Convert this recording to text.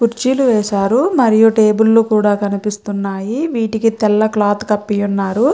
కుర్చీలు వేశారు మరియు టేబిల్ కూడా కనిపిస్తున్నాయి వీటికి తెల్ల క్లాత్ కప్పి ఉన్నారు.